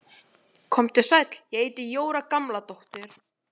Komdu sæll, ég heiti Jóra Gamladóttir